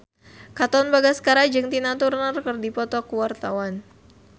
Katon Bagaskara jeung Tina Turner keur dipoto ku wartawan